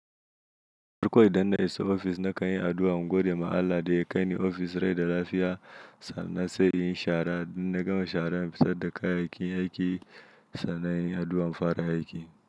Farko idan na isa ofis na kayi addu'a, mu gode ma Allah da ya kai ni ofis rai da lafiya sannan sai in yi shara, idan na gama shara in fitar da kayyayakin aiki sannan inyi addu'an in fara aiki.